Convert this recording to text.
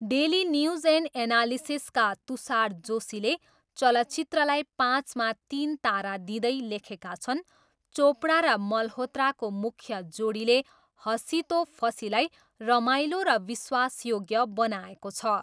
Daily news and एनालिसिसका तुषार जोशीले चलचित्रलाई पाँचमा तिन तारा दिँदै लेखेका छन्, 'चोपडा र मल्होत्राको मुख्य जोडीले हसी तो फसीलाई रमाइलो र विश्वासयोग्य बनाएको छ।'